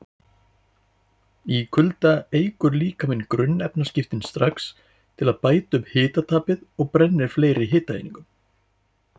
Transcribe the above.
Í kulda eykur líkaminn grunnefnaskiptin strax til að bæta upp hitatapið og brennir fleiri hitaeiningum.